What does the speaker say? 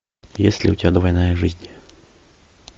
есть ли у тебя двойная жизнь